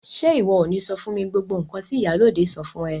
Ṣe iwọ o ni sọ fún mi gbogbo nkan ti ìyálóde sọ fún ẹ?